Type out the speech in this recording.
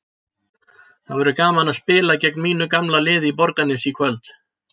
Það verður gaman að spila gegn mínu gamla liði í Borgarnesi í kvöld.